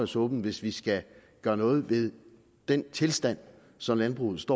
suppen hvis vi skal gøre noget ved den tilstand som landbruget